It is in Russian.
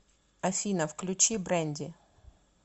афина включи брэнди